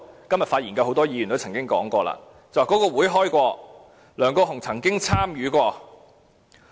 今天發言的很多位議員也曾經說過，這個會議有召開，梁國雄議員曾經參與過。